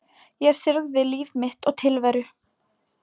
Ég syrgði líf mitt og tilveru.